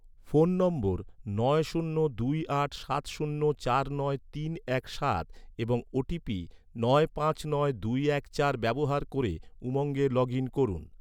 phone নম্বর নয় শূন্য দুই আট সাত শূন্য চার নয় তিন এক সাত এবং ওটিপি নয় পাঁচ নয় দুই এক চার ব্যবহার ক’রে, উমঙ্গে লগ ইন করুন